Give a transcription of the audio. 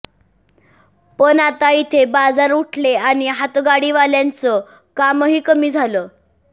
पण आता इथले बाजार उठले आणि हातगाडीवाल्यांचं कामही कमी झालं